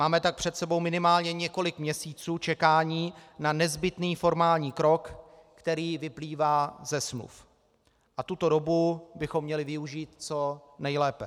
Máme tak před sebou minimálně několik měsíců čekání na nezbytný formální krok, který vyplývá ze smluv, a tuto dobu bychom měli využít co nejlépe.